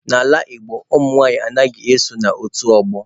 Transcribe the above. N'ala Igbo, nwanyị anaghị eso n'otu ọgbọ.